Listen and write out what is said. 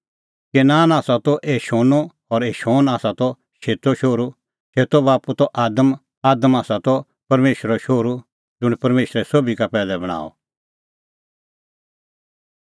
केनान आसा त एनोशो और एनोश आसा त शेतो शोहरू शेतो बाप्पू त आदम और आदम आसा त परमेशरो शोहरू ज़ुंण परमेशरै सोभी का पैहलै बणांअ